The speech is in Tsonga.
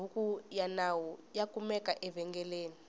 bhuku yanawu yakumeka evengeleni